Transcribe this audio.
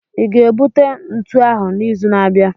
ị ga-ebute ntu ahu n'izu na-abịa?